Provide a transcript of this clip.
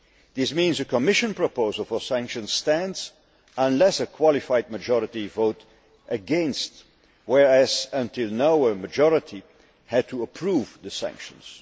This means a Commission proposal for sanctions stands unless a qualified majority vote against, whereas until now a majority had to approve the sanctions.